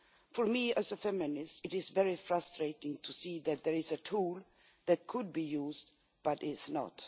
For me, as a feminist, it is very frustrating to see that there is a tool that could be used but is not.